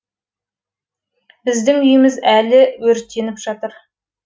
біздің үйіміз әлі өртеніп жатыр